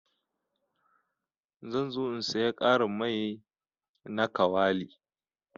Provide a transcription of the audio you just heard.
Zan zo in siya karin mai na kawali.